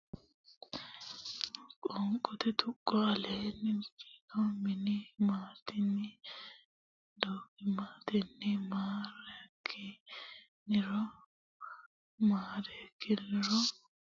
Qoonqote Tuqqo Qaale do nim ma ten ni donimmatenni maa reek ki ni ro maareekkiniro ho ron si dhan no se horonsidhannose Qoonqote Tuqqo Babbada Lawishsha hamaaraancho ha maa raan cho.